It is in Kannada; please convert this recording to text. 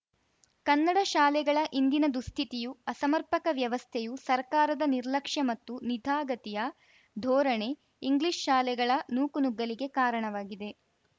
ಕನ್ನಡ ಶಾಲೆಗಳ ಇಂದಿನ ದುಸ್ಥಿತಿಯೂ ಅಸಮರ್ಪಕ ವ್ಯವಸ್ಥೆಯೂ ಸರ್ಕಾರದ ನಿರ್ಲಕ್ಷ್ಯ ಮತ್ತು ನಿಧಾಗತಿಯ ಧೋರಣೆ ಇಂಗ್ಲಿಷ್‌ ಶಾಲೆಗಳ ನೂಕುನುಗ್ಗಲಿಗೆ ಕಾರಣವಾಗಿದೆ